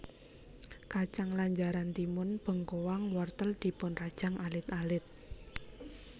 Kacang lanjaran timun bengkoang wortel dipun rajang alit alit